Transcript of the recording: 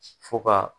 Fo ka